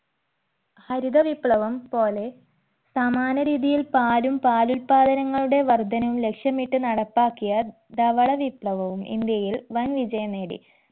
ഹരിത വിപ്ലവം പോലെ സമാന രീതിയിൽ പാലും പാലുല്പാദനങ്ങളുടെ വർധനവും ലക്ഷ്യമിട്ടു നടപ്പാക്കിയ ധവള വിപ്ലവവും ഇന്ത്യയിൽ വൻ വിജയം നേടി